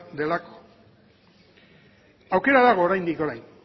delako aukera dago oraindik orain